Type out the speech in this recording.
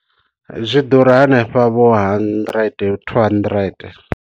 Zwi ḓura hanefha vho hundred two hundred.